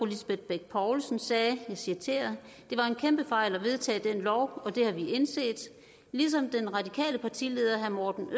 lisbeth bech poulsen sagde det var en kæmpe fejl at vedtage den lov og det har vi indset den radikale partileder herre morten